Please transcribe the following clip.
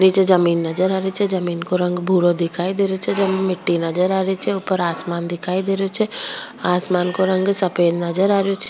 निचे जमीं नजर आ रही छे जमीं को रंग भूरो दिखाई दे रो छे जमीन मिटी नजर आ री छ ऊपर आसमान दिखाई दे रो छ आसमान को रंग सफ़ेद नजर आ रो छे।